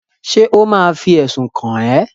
Ṣé ò ma fi ẹ̀sùn kàn ẹ́?